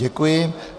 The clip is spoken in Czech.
Děkuji.